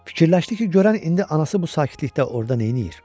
Fikirləşdi ki, görən indi anası bu sakitlikdə orda neyləyir?